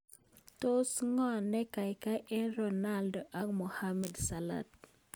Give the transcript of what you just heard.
Tos ngo ne kaikai eng Ronaldo ak Mohamed Salah?